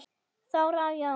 Þóra og Jón.